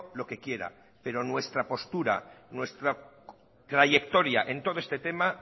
lo que quiera pero nuestra postura nuestra trayectoria en todo este tema